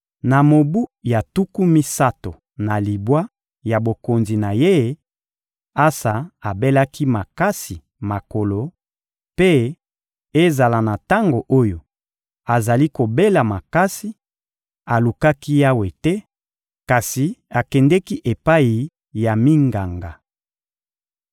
Na mobu ya tuku misato na libwa ya bokonzi na ye, Asa abelaki makasi makolo; mpe, ezala na tango oyo azali kobela makasi, alukaki Yawe te, kasi akendeki epai ya minganga.